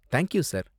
Thank you sir.